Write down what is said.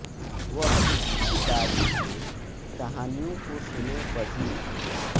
वह उसकी दादी से कहानियों को सुने बढ़ी